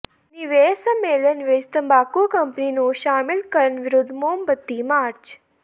ਨਿਵੇਸ਼ ਸੰਮੇਲਨ ਵਿੱਚ ਤੰਬਾਕੂ ਕੰਪਨੀ ਨੂੰ ਸ਼ਾਮਲ ਕਰਨ ਵਿਰੁੱਧ ਮੋਮਬੱਤੀ ਮਾਰਚ